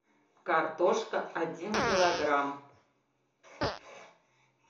картошка один килограмм